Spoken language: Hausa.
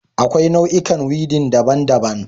Akwai nau'ikan weeding daban-daban